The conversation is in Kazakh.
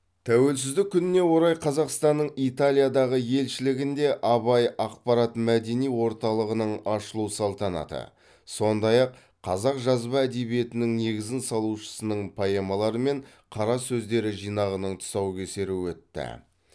тәуелсіздік күніне орай қазақстанның италиядағы елшілігінде абай ақпарат мәдени орталығының ашылу салтанаты сондай ақ қазақ жазба әдебиетінің негізін салушысының поэмалары мен қара сөздері жинағының тұсаукесері өтті